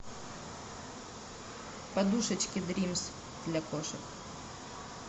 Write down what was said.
подушечки дримс для кошек